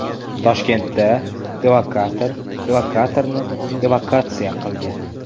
Toshkentda evakuator evakuatorni evakuatsiya qildi .